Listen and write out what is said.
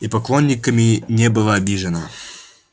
и поклонниками не была обижена